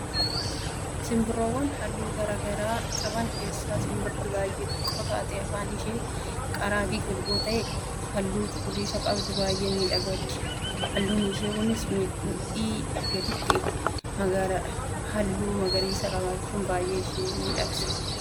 simbirroowwan halluu garaagaraa qaban keessaa simbirri baay'ee xiqqoo taatee afaan ishee qaraa fi golboo ta'ee halluu cuquliisa qabdu baay'ee miidhagdi. Halluun ishee kunis mudhii gaditti magaaladha. Halluu magariisa qabaachuun baay'ee ishee miidhagse.